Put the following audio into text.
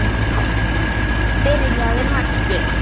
byrjaði Maggi.